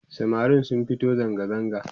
samarin sun fito zangazaga